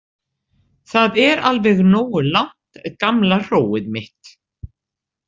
Það er alveg nógu langt gamla hróið mitt!